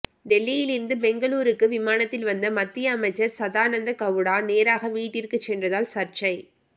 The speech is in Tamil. டெல்லியில் இருந்து பெங்களூருக்கு விமானத்தில் வந்த மத்திய அமைச்சர் சதானந்தகவுடா நேராக வீட்டிற்கு சென்றதால் சர்ச்சை